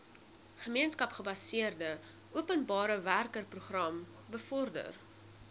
gemeenskapsgebaseerde openbarewerkeprogram bevorder